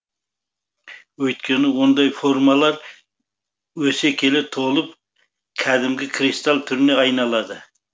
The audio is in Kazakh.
өйткені ондай формалар өсе келе толып кәдімгі кристалл түріне айналады